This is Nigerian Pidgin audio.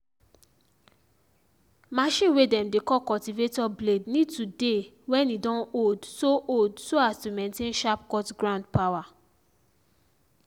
machine way dem dey call cultivator blade need to dey when e don old so old so as to maintain sharp cut ground power.